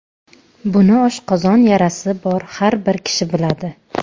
Buni oshqozon yarasi bor har bir kishi biladi.